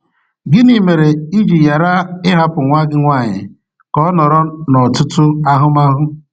Gịnị mere i ji ghara ịhapụ nwa gị nwaanyị ka o nọrọ n’ọtụtụ ahụmahụ?